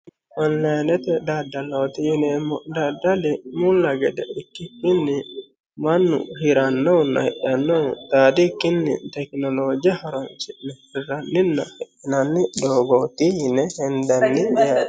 Onilayinete dadaloti yineemo dadali mula gede ikkikini manu hiranohuna hidhanohu dhaadikkini tekinolooje horoonsine hiranina hidhinani dogooti yine henadani garaati